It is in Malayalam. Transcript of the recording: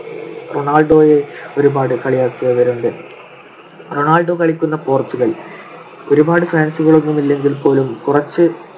റൊണാൾഡോയെ ഒരുപാടു കളിയാക്കിയവരുണ്ട്. റൊണാൾഡോ കളിക്കുന്ന പോർച്ചുഗൽ ഒരുപാട് fans കളൊന്നുമില്ലെങ്കിൽ പോലും കുറച്ച്